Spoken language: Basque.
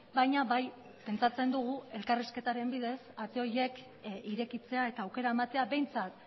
baina bai pentsatzen dugu elkarrizketaren bidez ate horiek irekitzea eta aukera ematea behintzat